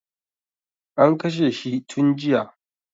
An kashe shi tun jiya